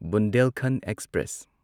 Bundelkhand express